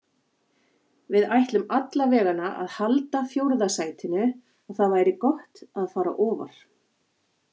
Við ætlum allavegana að halda fjórða sætinu og það væri gott að fara ofar.